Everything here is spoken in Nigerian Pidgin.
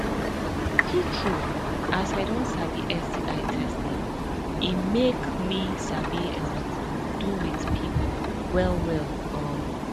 true true as i don sabi sti testing e make me sabi um do with people well well um